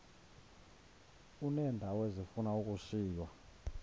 uneendawo ezifuna ukushiywa